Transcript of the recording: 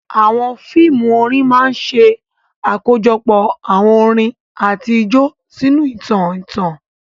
Àwọn fíìmù orin máa ń ṣe àkójọpọ̀ àwọn orin àti ijó sínú ìtàn ìtàn.